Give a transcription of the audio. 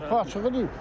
Qapı açıq idi.